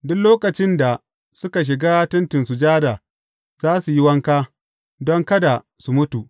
Duk lokacin da suka shiga Tentin Sujada, za su yi wanka, don kada su mutu.